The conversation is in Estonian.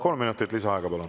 Kolm minutit lisaaega, palun!